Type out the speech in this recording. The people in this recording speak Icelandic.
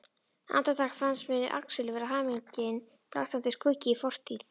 Andartak finnst mér Axel vera minning, blaktandi skuggi í fortíð.